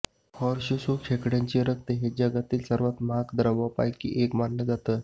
horseshoe खेकड्यांचं रक्त हे जगातल्या सर्वात महाग द्रवांपैकी एक मानलं जातं